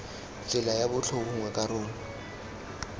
tsela ya botlhe gongwe karolo